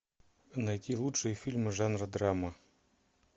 найти лучшие фильмы жанра драма